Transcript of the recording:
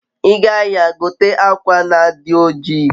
iga ahia, gote akwa na adi oji